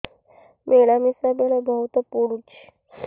ମିଳାମିଶା ବେଳେ ବହୁତ ପୁଡୁଚି